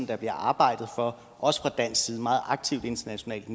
der bliver arbejdet for meget aktivt internationalt